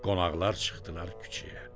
Qonaqlar çıxdılar küçəyə.